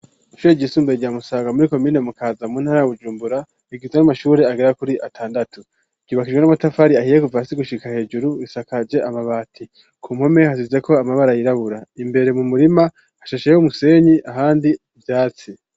Ishure ryisumbuye rya Musaga muri komine Mukaza mu ntara Bujumbura, rigizwe n'amashure agera kuri atandatu, ryubakishijwe n'amatafari ahiye kuva hasi gushika hejuru, risakaje amabati, ku mpome hasizeko amabara yirabura, imbere mu murima hashasheyeyo umusenyi, ahandi ivyatsi.